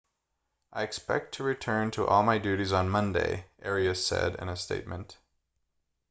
i expect to return to all my duties on monday arias said in a statement